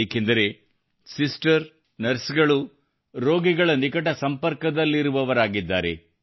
ಏಕೆಂದರೆ sister nurse ಗಳು ರೋಗಿಗಳ ನಿಕಟ ಸಂಪರ್ಕದಲ್ಲಿರುವವರಾಗಿದ್ದಾರೆ